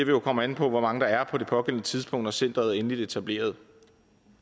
jo komme an på hvor mange der er på det pågældende tidspunkt når centeret er endeligt etableret